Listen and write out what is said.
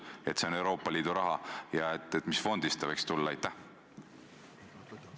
Kui see on Euroopa Liidu raha, siis mis fondist see võiks tulla?